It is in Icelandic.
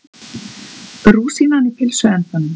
Rúsínan í pylsuendanum